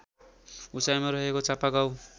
उचाइमा रहेको चापागाउँ